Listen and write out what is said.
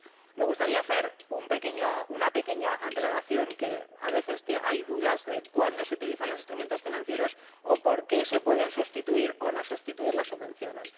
Me gustaría hacer una pequeña aclaración, porque a veces hay dudas sobre cuándo se utilizan los instrumentos financieros o por qué se pueden sustituir o no sustituir las subvenciones.